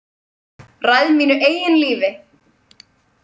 Ræð mínu eigin lífi.